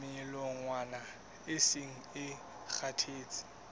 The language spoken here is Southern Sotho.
melongwana e seng e kgathetse